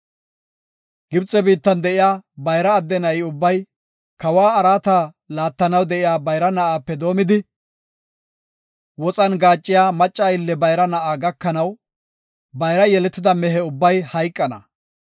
Gibxe biittan de7iya bayra adde na7i ubbay, kawa araata laattanaw de7iya bayra na7aape doomidi, woxan gaaciya macca aylle bayra na7a gakanaw, bayra yeletida mehe ubbay hayqana.